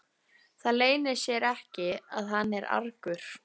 Það leynir sér ekki að hann er argur.